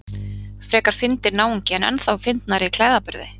Frekar fyndinn náungi en ennþá fyndnari í klæðaburði.